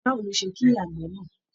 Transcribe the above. Báwo ló ṣe kí àgbè náà?